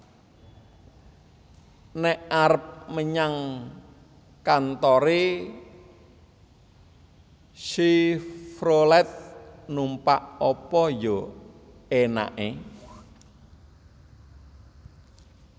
Nek arep menyang kantore Chevrolet numpak apa yo enake